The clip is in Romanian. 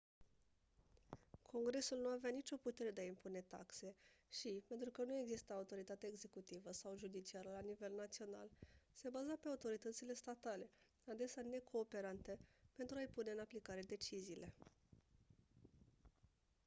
congresul nu avea nicio putere de a impune taxe și pentru că nu exista autoritate executivă sau judiciară la nivel național se baza pe autoritățile statale adesea necooperante pentru a-i pune în aplicare deciziile